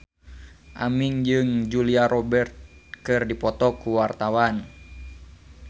Aming jeung Julia Robert keur dipoto ku wartawan